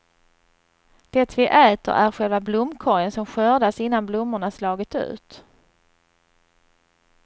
Det vi äter är själva blomkorgen som skördas innan blommorna slagit ut.